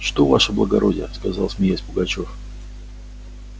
что ваше благородие сказал смеясь пугачёв